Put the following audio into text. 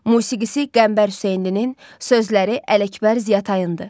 Musiqisi Qəmbər Hüseynlinin, sözləri Ələkbər Ziyatayındır.